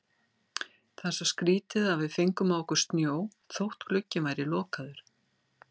Það er svo skrýtið að við fengum á okkur snjó þótt glugginn væri lokaður.